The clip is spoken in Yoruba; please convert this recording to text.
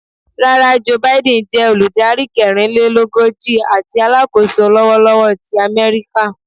Rara, Joe Biden jé Olùdarí kẹrinlelogoji àti Alákóso lọwọlọwọ ti Améríkà